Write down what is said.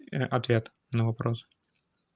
и ответ на вопрос